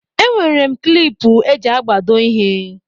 Enwere m klipu eji agbado ịhe.